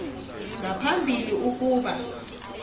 nga phambili ukuba